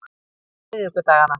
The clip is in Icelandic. miðvikudaganna